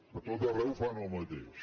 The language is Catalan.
a tot arreu fan el mateix